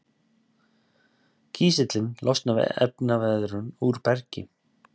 kísillinn losnar við efnaveðrun úr bergi